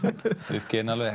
uppgefinn alveg